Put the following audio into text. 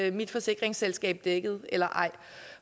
ens forsikringsselskab er dækket eller ej